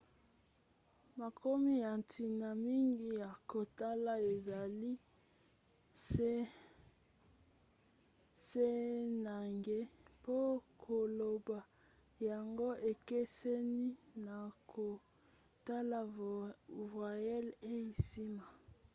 makomi ya ntina mingi ya kotala ezali c na g mpo koloba yango ekeseni na kotala voyelle eyei nsima